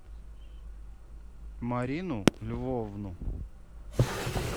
марину львовну